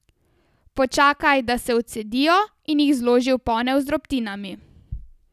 Počakaj, da se odcedijo, in jih zloži v ponev z drobtinami.